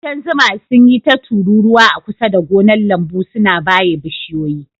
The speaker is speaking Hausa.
Ƙudan zuma sun yi ta tururuwa a kusa da gonar lambu, suna baye bishiyoyi.